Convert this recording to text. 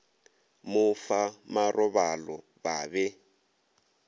mo fa marobalo ba be